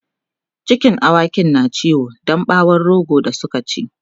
cikin awakin na ciwo Dan bawon rogo da Suka ci